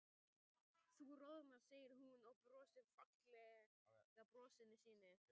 Þú roðnar, segir hún og brosir fallega brosinu sínu.